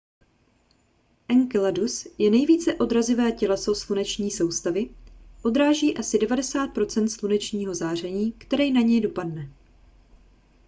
enceladus je nejvíce odrazivé těleso sluneční soustavy odráží asi 90 procent slunečního záření které na něj dopadne